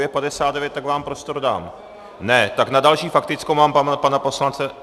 Je 59, tak vám prostor dám... ne, tak na další faktickou mám pana poslance...